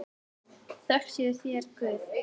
Þökk sé þér Guð.